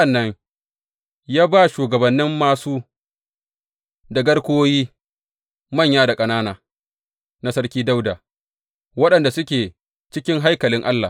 Sa’an nan ya ba shugabannin māsu da garkuwoyi manya da ƙanana na sarki Dawuda, waɗanda suke cikin haikalin Allah.